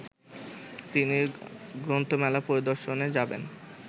তিনি গ্রন্থমেলা পরিদর্শনে যাবেন